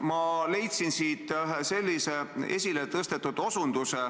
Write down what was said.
Ma leidsin siit ühe sellise esiletõstetud koha: